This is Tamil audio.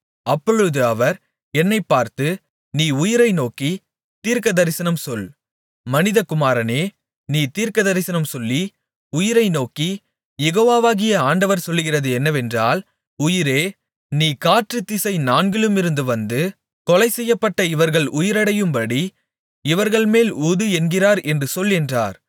அப்பொழுது அவர் என்னைப் பார்த்து நீ உயிரை நோக்கித் தீர்க்கதரிசனம் சொல் மனிதகுமாரனே நீ தீர்க்கதரிசனம் சொல்லி உயிரைநோக்கி யெகோவாகிய ஆண்டவர் சொல்லுகிறது என்னவென்றால் உயிரே நீ காற்றுத்திசை நான்கிலுமிருந்து வந்து கொலை செய்யப்பட்ட இவர்கள் உயிரடையும்படி இவர்கள்மேல் ஊது என்கிறார் என்று சொல் என்றார்